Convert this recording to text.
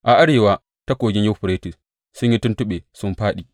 A arewa ta Kogin Yuferites sun yi tuntuɓe sun fāɗi.